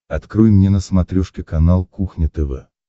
открой мне на смотрешке канал кухня тв